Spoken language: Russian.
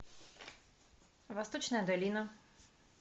восточная долина